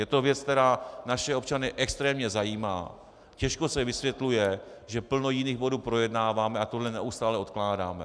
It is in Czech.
Je to věc, která naše občany extrémně zajímá, těžko se vysvětluje, že plno jiných bodů projednáváme a tohle neustále odkládáme.